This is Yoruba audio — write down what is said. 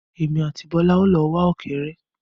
Èmi àti Bọ́lá o lọ wá ọ̀kẹ́ré.